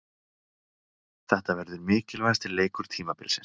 Þetta verður mikilvægasti leikur tímabilsins.